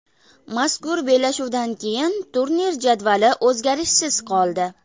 Mazkur bellashuvdan keyin turnir jadvali o‘zgarishsiz qoldi.